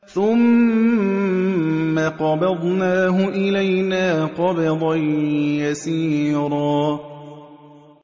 ثُمَّ قَبَضْنَاهُ إِلَيْنَا قَبْضًا يَسِيرًا